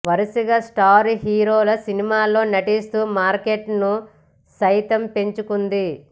వరుసగా స్టార్ హీరోల సినిమాల్లో నటిస్తూ మార్కెట్ను సైతం పెంచుకుంది